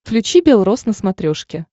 включи бел рос на смотрешке